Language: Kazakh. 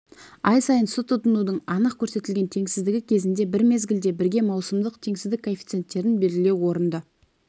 ай сайын су тұтынудың анық көрсетілген теңсіздігі кезінде бір мезгілде бірге маусымдық теңсіздік коэффициенттерін белгілеу орынды